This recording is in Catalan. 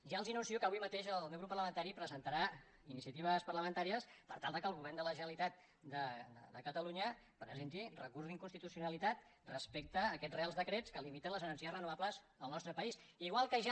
ja els anuncio que avui mateix el meu grup parlamentari presentarà iniciatives parlamentàries per tal que el govern de la generalitat de catalunya presenti recurs d’inconstitucionalitat respecte a aquests reals decrets que limitem les energies renovables en el nostre país igual que ja